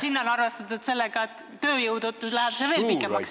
... ehk tuleb arvestada sellega, et tööjõu puuduse tõttu see venib veel pikemaks.